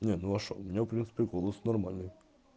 нет ну а что у меня в принципе голос нормальный